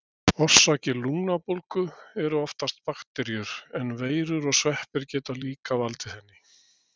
Orsakir lungnabólgu eru oftast bakteríur, en veirur og sveppir geta líka valdið henni.